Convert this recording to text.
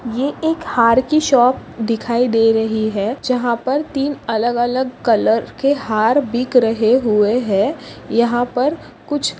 यह एक हार की शॉप दिखाई दे रही है जहाँ पर तीन अलग अलग कलर के हार बिक रहे हुए है यहाँ पर कुछ--